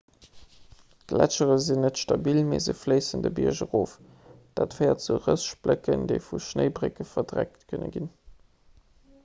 d'gletschere sinn net stabil mee se fléissen de bierg erof dat féiert zu rëss splécken déi vu schnéibrécke verdeckt kënne ginn